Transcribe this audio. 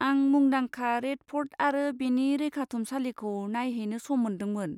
आं मुंदांखा रेद फ'र्ट आरो बेनि रैखाथुमसालिखौ नायहैनो सम मोनदोंमोन।